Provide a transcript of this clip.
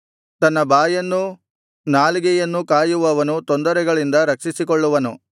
ತನ್ನ ಬಾಯನ್ನೂ ನಾಲಿಗೆಯನ್ನೂ ಕಾಯುವವನು ತೊಂದರೆಗಳಿಂದ ರಕ್ಷಿಸಿಕೊಳ್ಳುವನು